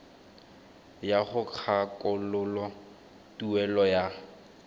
ya go kgakololo tuelo ya